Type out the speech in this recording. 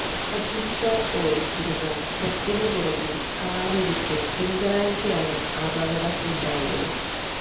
അജിംഷാദ് ഓടിച്ചിരുന്ന ട്രക്കിനു പുറകിൽ കാറിടിച്ച് തിങ്കളാഴ്ചയാണ് അപകടം ഉണ്ടായത്